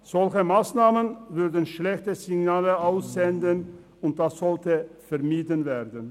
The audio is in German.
Solche Massnahmen würden schlechte Signale aussenden und das sollte vermieden werden.